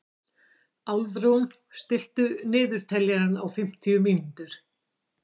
Álfrún, stilltu niðurteljara á fimmtíu mínútur.